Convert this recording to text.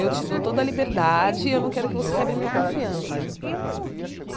Eu te dou toda a liberdade e eu não quero que você quebre a minha confiança.